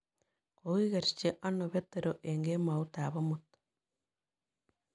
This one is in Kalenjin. Kogigerchi ano Petero eng' kemoutap amut